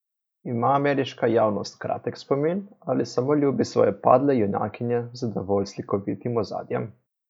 Ima ameriška javnost kratek spomin ali samo ljubi svoje padle junakinje z dovolj slikovitim ozadjem?